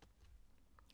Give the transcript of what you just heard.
TV 2